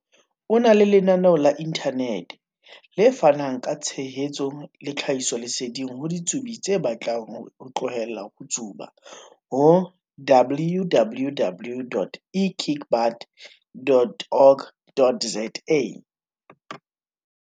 o na le lena-neo la inthanete, le fanang ka tshehetso le tlhahisoleseding ho ditsubi tse batlang ho tlohela ho tsuba ho- www.ekickbutt.org.za.